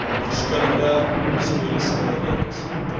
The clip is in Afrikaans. verskillende historiese redes